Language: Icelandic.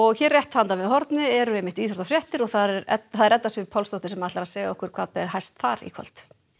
hér rétt handan við hornið eru íþróttafréttir og það er Edda er Edda Sif Pálsdóttir sem ætlar að segja okkur hvað ber hæst þar í kvöld